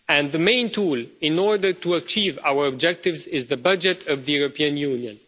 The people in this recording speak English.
The main tool in order to achieve our objectives is the budget of the European Union.